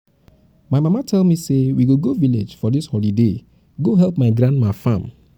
my mama tell me say we go go village for dis holiday go help my grandma farm